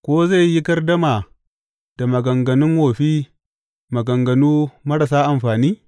Ko zai yi gardama da maganganun wofi maganganu marasa amfani?